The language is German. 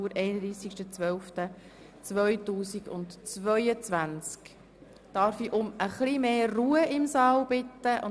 Diese Session ist zeitlich eng, deshalb beginnen wir nun.